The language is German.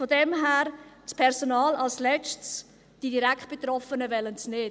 Daher als Letztes: Das Personal, die Direktbetroffenen, wollen dies nicht.